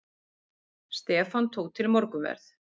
Stefán tók til morgunverð.